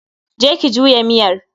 je ki juya miyar.